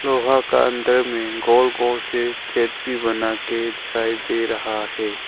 लोहा का अंदर में गोल गोल से चेपी बनाकर दिखाई दे रहा है।